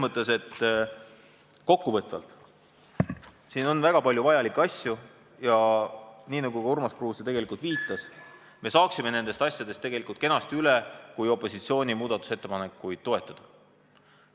Kokkuvõtteks võib öelda, et siin on väga palju vajalikke asju, ja nagu Urmas Kruuse ütles, saaksime probleemidest kenasti üle, kui opositsiooni muudatusettepanekuid toetataks.